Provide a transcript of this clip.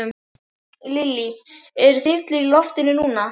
Lillý: Eru þyrlur í loftinu núna?